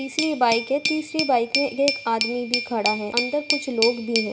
तीसरी बाइक हैतीसरी बाइक में एक आदमी भी खड़ा हैअंदर कुछ लोग भी हैं।